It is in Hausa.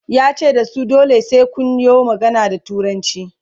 yace da su "dole sai Kun yo magana da turanci"